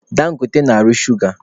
Dangote na-arụ shuga.